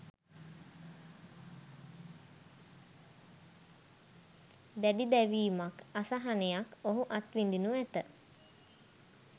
දැඩි දැවීමක්, අසහනයක් ඔහු අත්විඳිනු ඇත.